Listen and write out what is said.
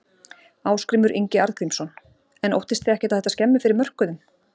Ásgrímur Ingi Arngrímsson: En óttist þið ekkert að þetta skemmi fyrir mörkuðum?